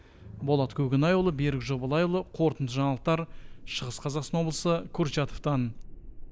болат көкенайұлы берік жобалайұлы қорытынды жаңалықтар шығыс қазақстан облысы курчатовтан